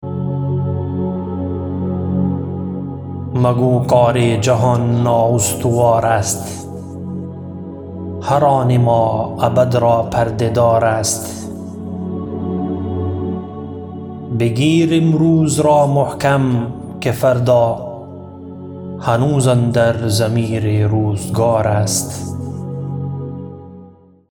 مگو کار جهان نااستوار است هر آن ما ابد را پرده دار است بگیر امروز را محکم که فردا هنوز اندر ضمیر روزگار است